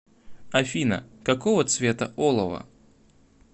афина какого цвета олово